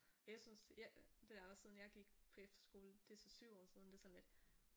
Og jeg synes jeg det er også siden jeg gik på efterskole det er så 7 år siden det sådan lidt